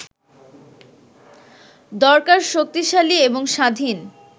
দরকার শক্তিশালী এবং স্বাধীন